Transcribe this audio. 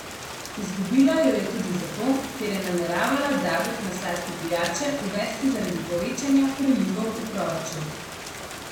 Izgubila jo je tudi zato, ker je nameravala davek na sladke pijače uvesti zaradi povečanja prilivov v proračun.